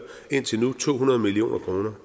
indtil nu to hundrede million kroner